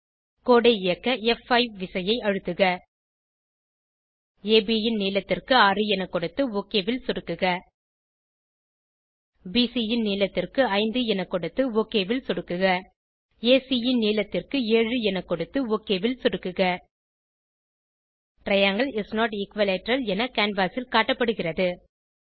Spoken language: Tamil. கோடு ஐ இயக்க ப்5 விசையை அழுத்துக அப் ன் நீளத்திற்கு 6 என கொடுத்து ஒக் ஐ சொடுக்குக பிசி ன் நீளத்திற்கு 5 என கொடுத்து ஒக் ஐ சொடுக்குக ஏசி ன் நீளத்திற்கு 7 என கொடுத்து ஒக் ஐ சொடுக்குக டிரையாங்கில் இஸ் நோட் எக்விலேட்டரல் என கேன்வாஸ் ல் காட்டப்படுகிறது